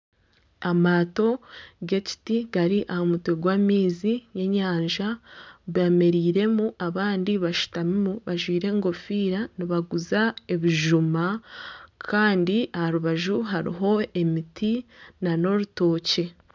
Amaato g'ekiti gari ahaiguru y'amaizi g'enyanja beemereiremu abandi bashutamimu bajwire enkofiira nibaguza ebijuma kandi aha rubaju hariho emiti nana orutookye